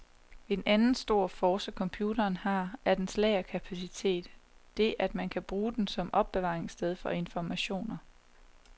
En anden stor force, computeren har, er dens lagerkapacitet, det at man kan bruge den som opbevaringssted for informationer.